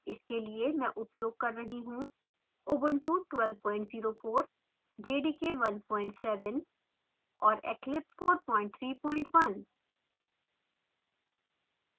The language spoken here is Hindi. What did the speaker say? इसके लिए मैं उपयोग कर रहा हूँ ubuntu ऊबंटु 1204 jdk 17 और eclipse 431